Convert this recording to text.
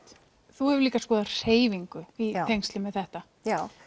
þú hefur líka skoðað hreyfingu í tengslum við þetta já